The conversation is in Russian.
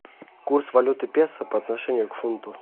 курс валюты песо по отношению к фунту